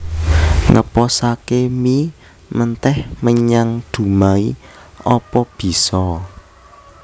Ngeposake mie menteh menyang Dumai opo biso?